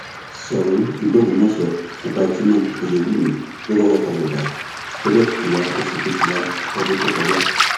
ṣòun ìlú ògbómọṣọ ọba jimoh oyewumi ló kọkọ papòdà lọjọ kejìlá oṣù kejìlá ọdún tó kọjá